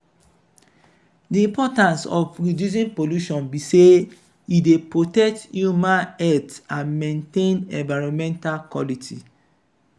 di importance of reducing pollution be say e dey protect human health and maintain environmental quality.